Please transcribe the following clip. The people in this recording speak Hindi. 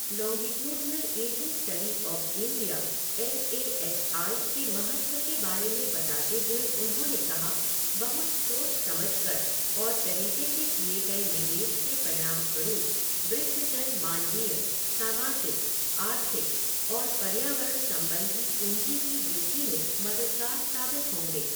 Longitudinal ageing study of India L A S I के महत्व के बारे में बताते हुए उन्होंने कहा, बहुत सोच समझकर और तरीके से किए गए निवेश के परिणामस्वरूप वृद्धजन मानवीय, सामाजिक, आर्थिक और पर्यावरण संबंधी पूंजी की वृद्धि में मददगार साबित होंगे।